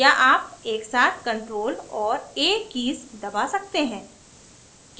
या आप एकसाथ ctrl और a कीज़ दबा सकते हैं